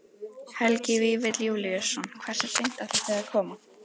Helgi Vífill Júlíusson: Hversu seint ætlið þið að koma?